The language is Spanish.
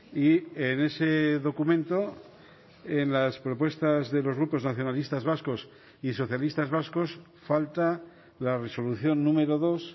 y en ese documento en las propuestas de los grupos nacionalistas vascos y socialistas vascos falta la resolución número dos